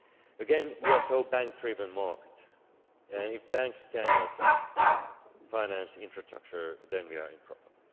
Again, we are a bank driven market, and if banks cannot finance infrastructure then we are in trouble.